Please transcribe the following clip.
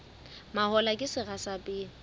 mahola ke sera sa pele